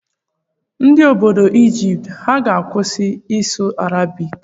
Ndị obodo Ijipt ha ga-akwụsị ịsụ Arabik?